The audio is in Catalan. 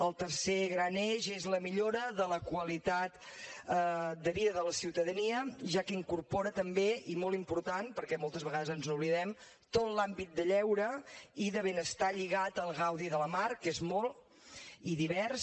el tercer gran eix és la millora de la qualitat de vida de la ciutadania ja que incorpora també i molt important perquè moltes vegades ens n’oblidem tot l’àmbit de lleure i de benestar lligat al gaudi de la mar que és molt i divers